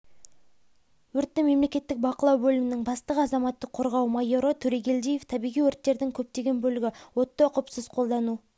өртті мемлекеттік бақылау бөлімінің бастығы азаматтық қорғау майоры турегелдиев табиғи өрттердің көптеген бөлігі отты ұқыпсыз қолдану